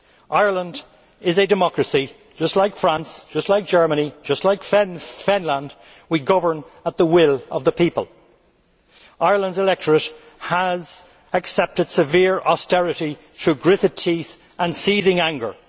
Ireland is a democracy, just like France, just like Germany, just like Finland we govern at the will of the people. Ireland's electorate has accepted severe austerity through gritted teeth and seething anger.